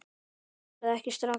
Það verður ekki strax